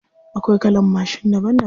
Akwai kalan mashin daban daban.